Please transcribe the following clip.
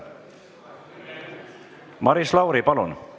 Maris Lauri, palun!